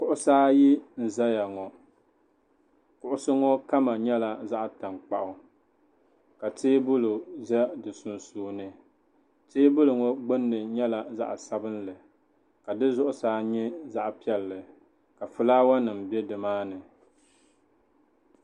Kuɣusi ayi n-zaya ŋɔ kuɣusi ŋɔ kama nyɛla zaɣ'tankpaɣu ka teebuli za di sunsuuni teebuli ŋɔ gbunni nyɛla zaɣ'sabinli ka di zuɣusaa nyɛ zaɣ'piɛlli ka fulaawanima be nimaani.